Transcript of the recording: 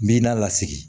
N b'i n'a lasigi